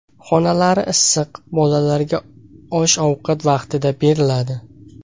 Xonalari issiq, bolalarga osh-ovqat vaqtida beriladi.